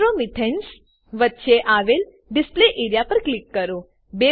nitromethanes વચ્ચે આવેલ display area પર ક્લિક કરો